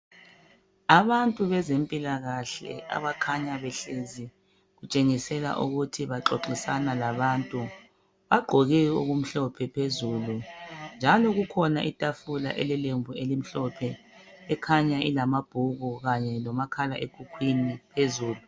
abantu bezempilakahle abakhanya behlezi kutshengiselaukuthi baxoxisana labantu bagqoke okumhlophe phezulu njalo kukhona itafula elelembu elimhlophe ekhanya ilamabhuku kanye lomakhalekhukhwini phezulu